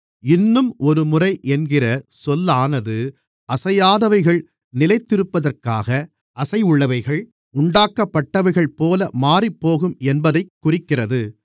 இன்னும் ஒருமுறை என்கிற சொல்லானது அசையாதவைகள் நிலைத்திருப்பதற்காக அசைவுள்ளவைகள் உண்டாக்கப்பட்டவைகள்போல மாறிப்போகும் என்பதைக் குறிக்கிறது